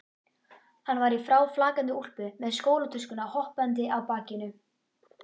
Hann var í fráflakandi úlpu með skólatöskuna hoppandi á bakinu.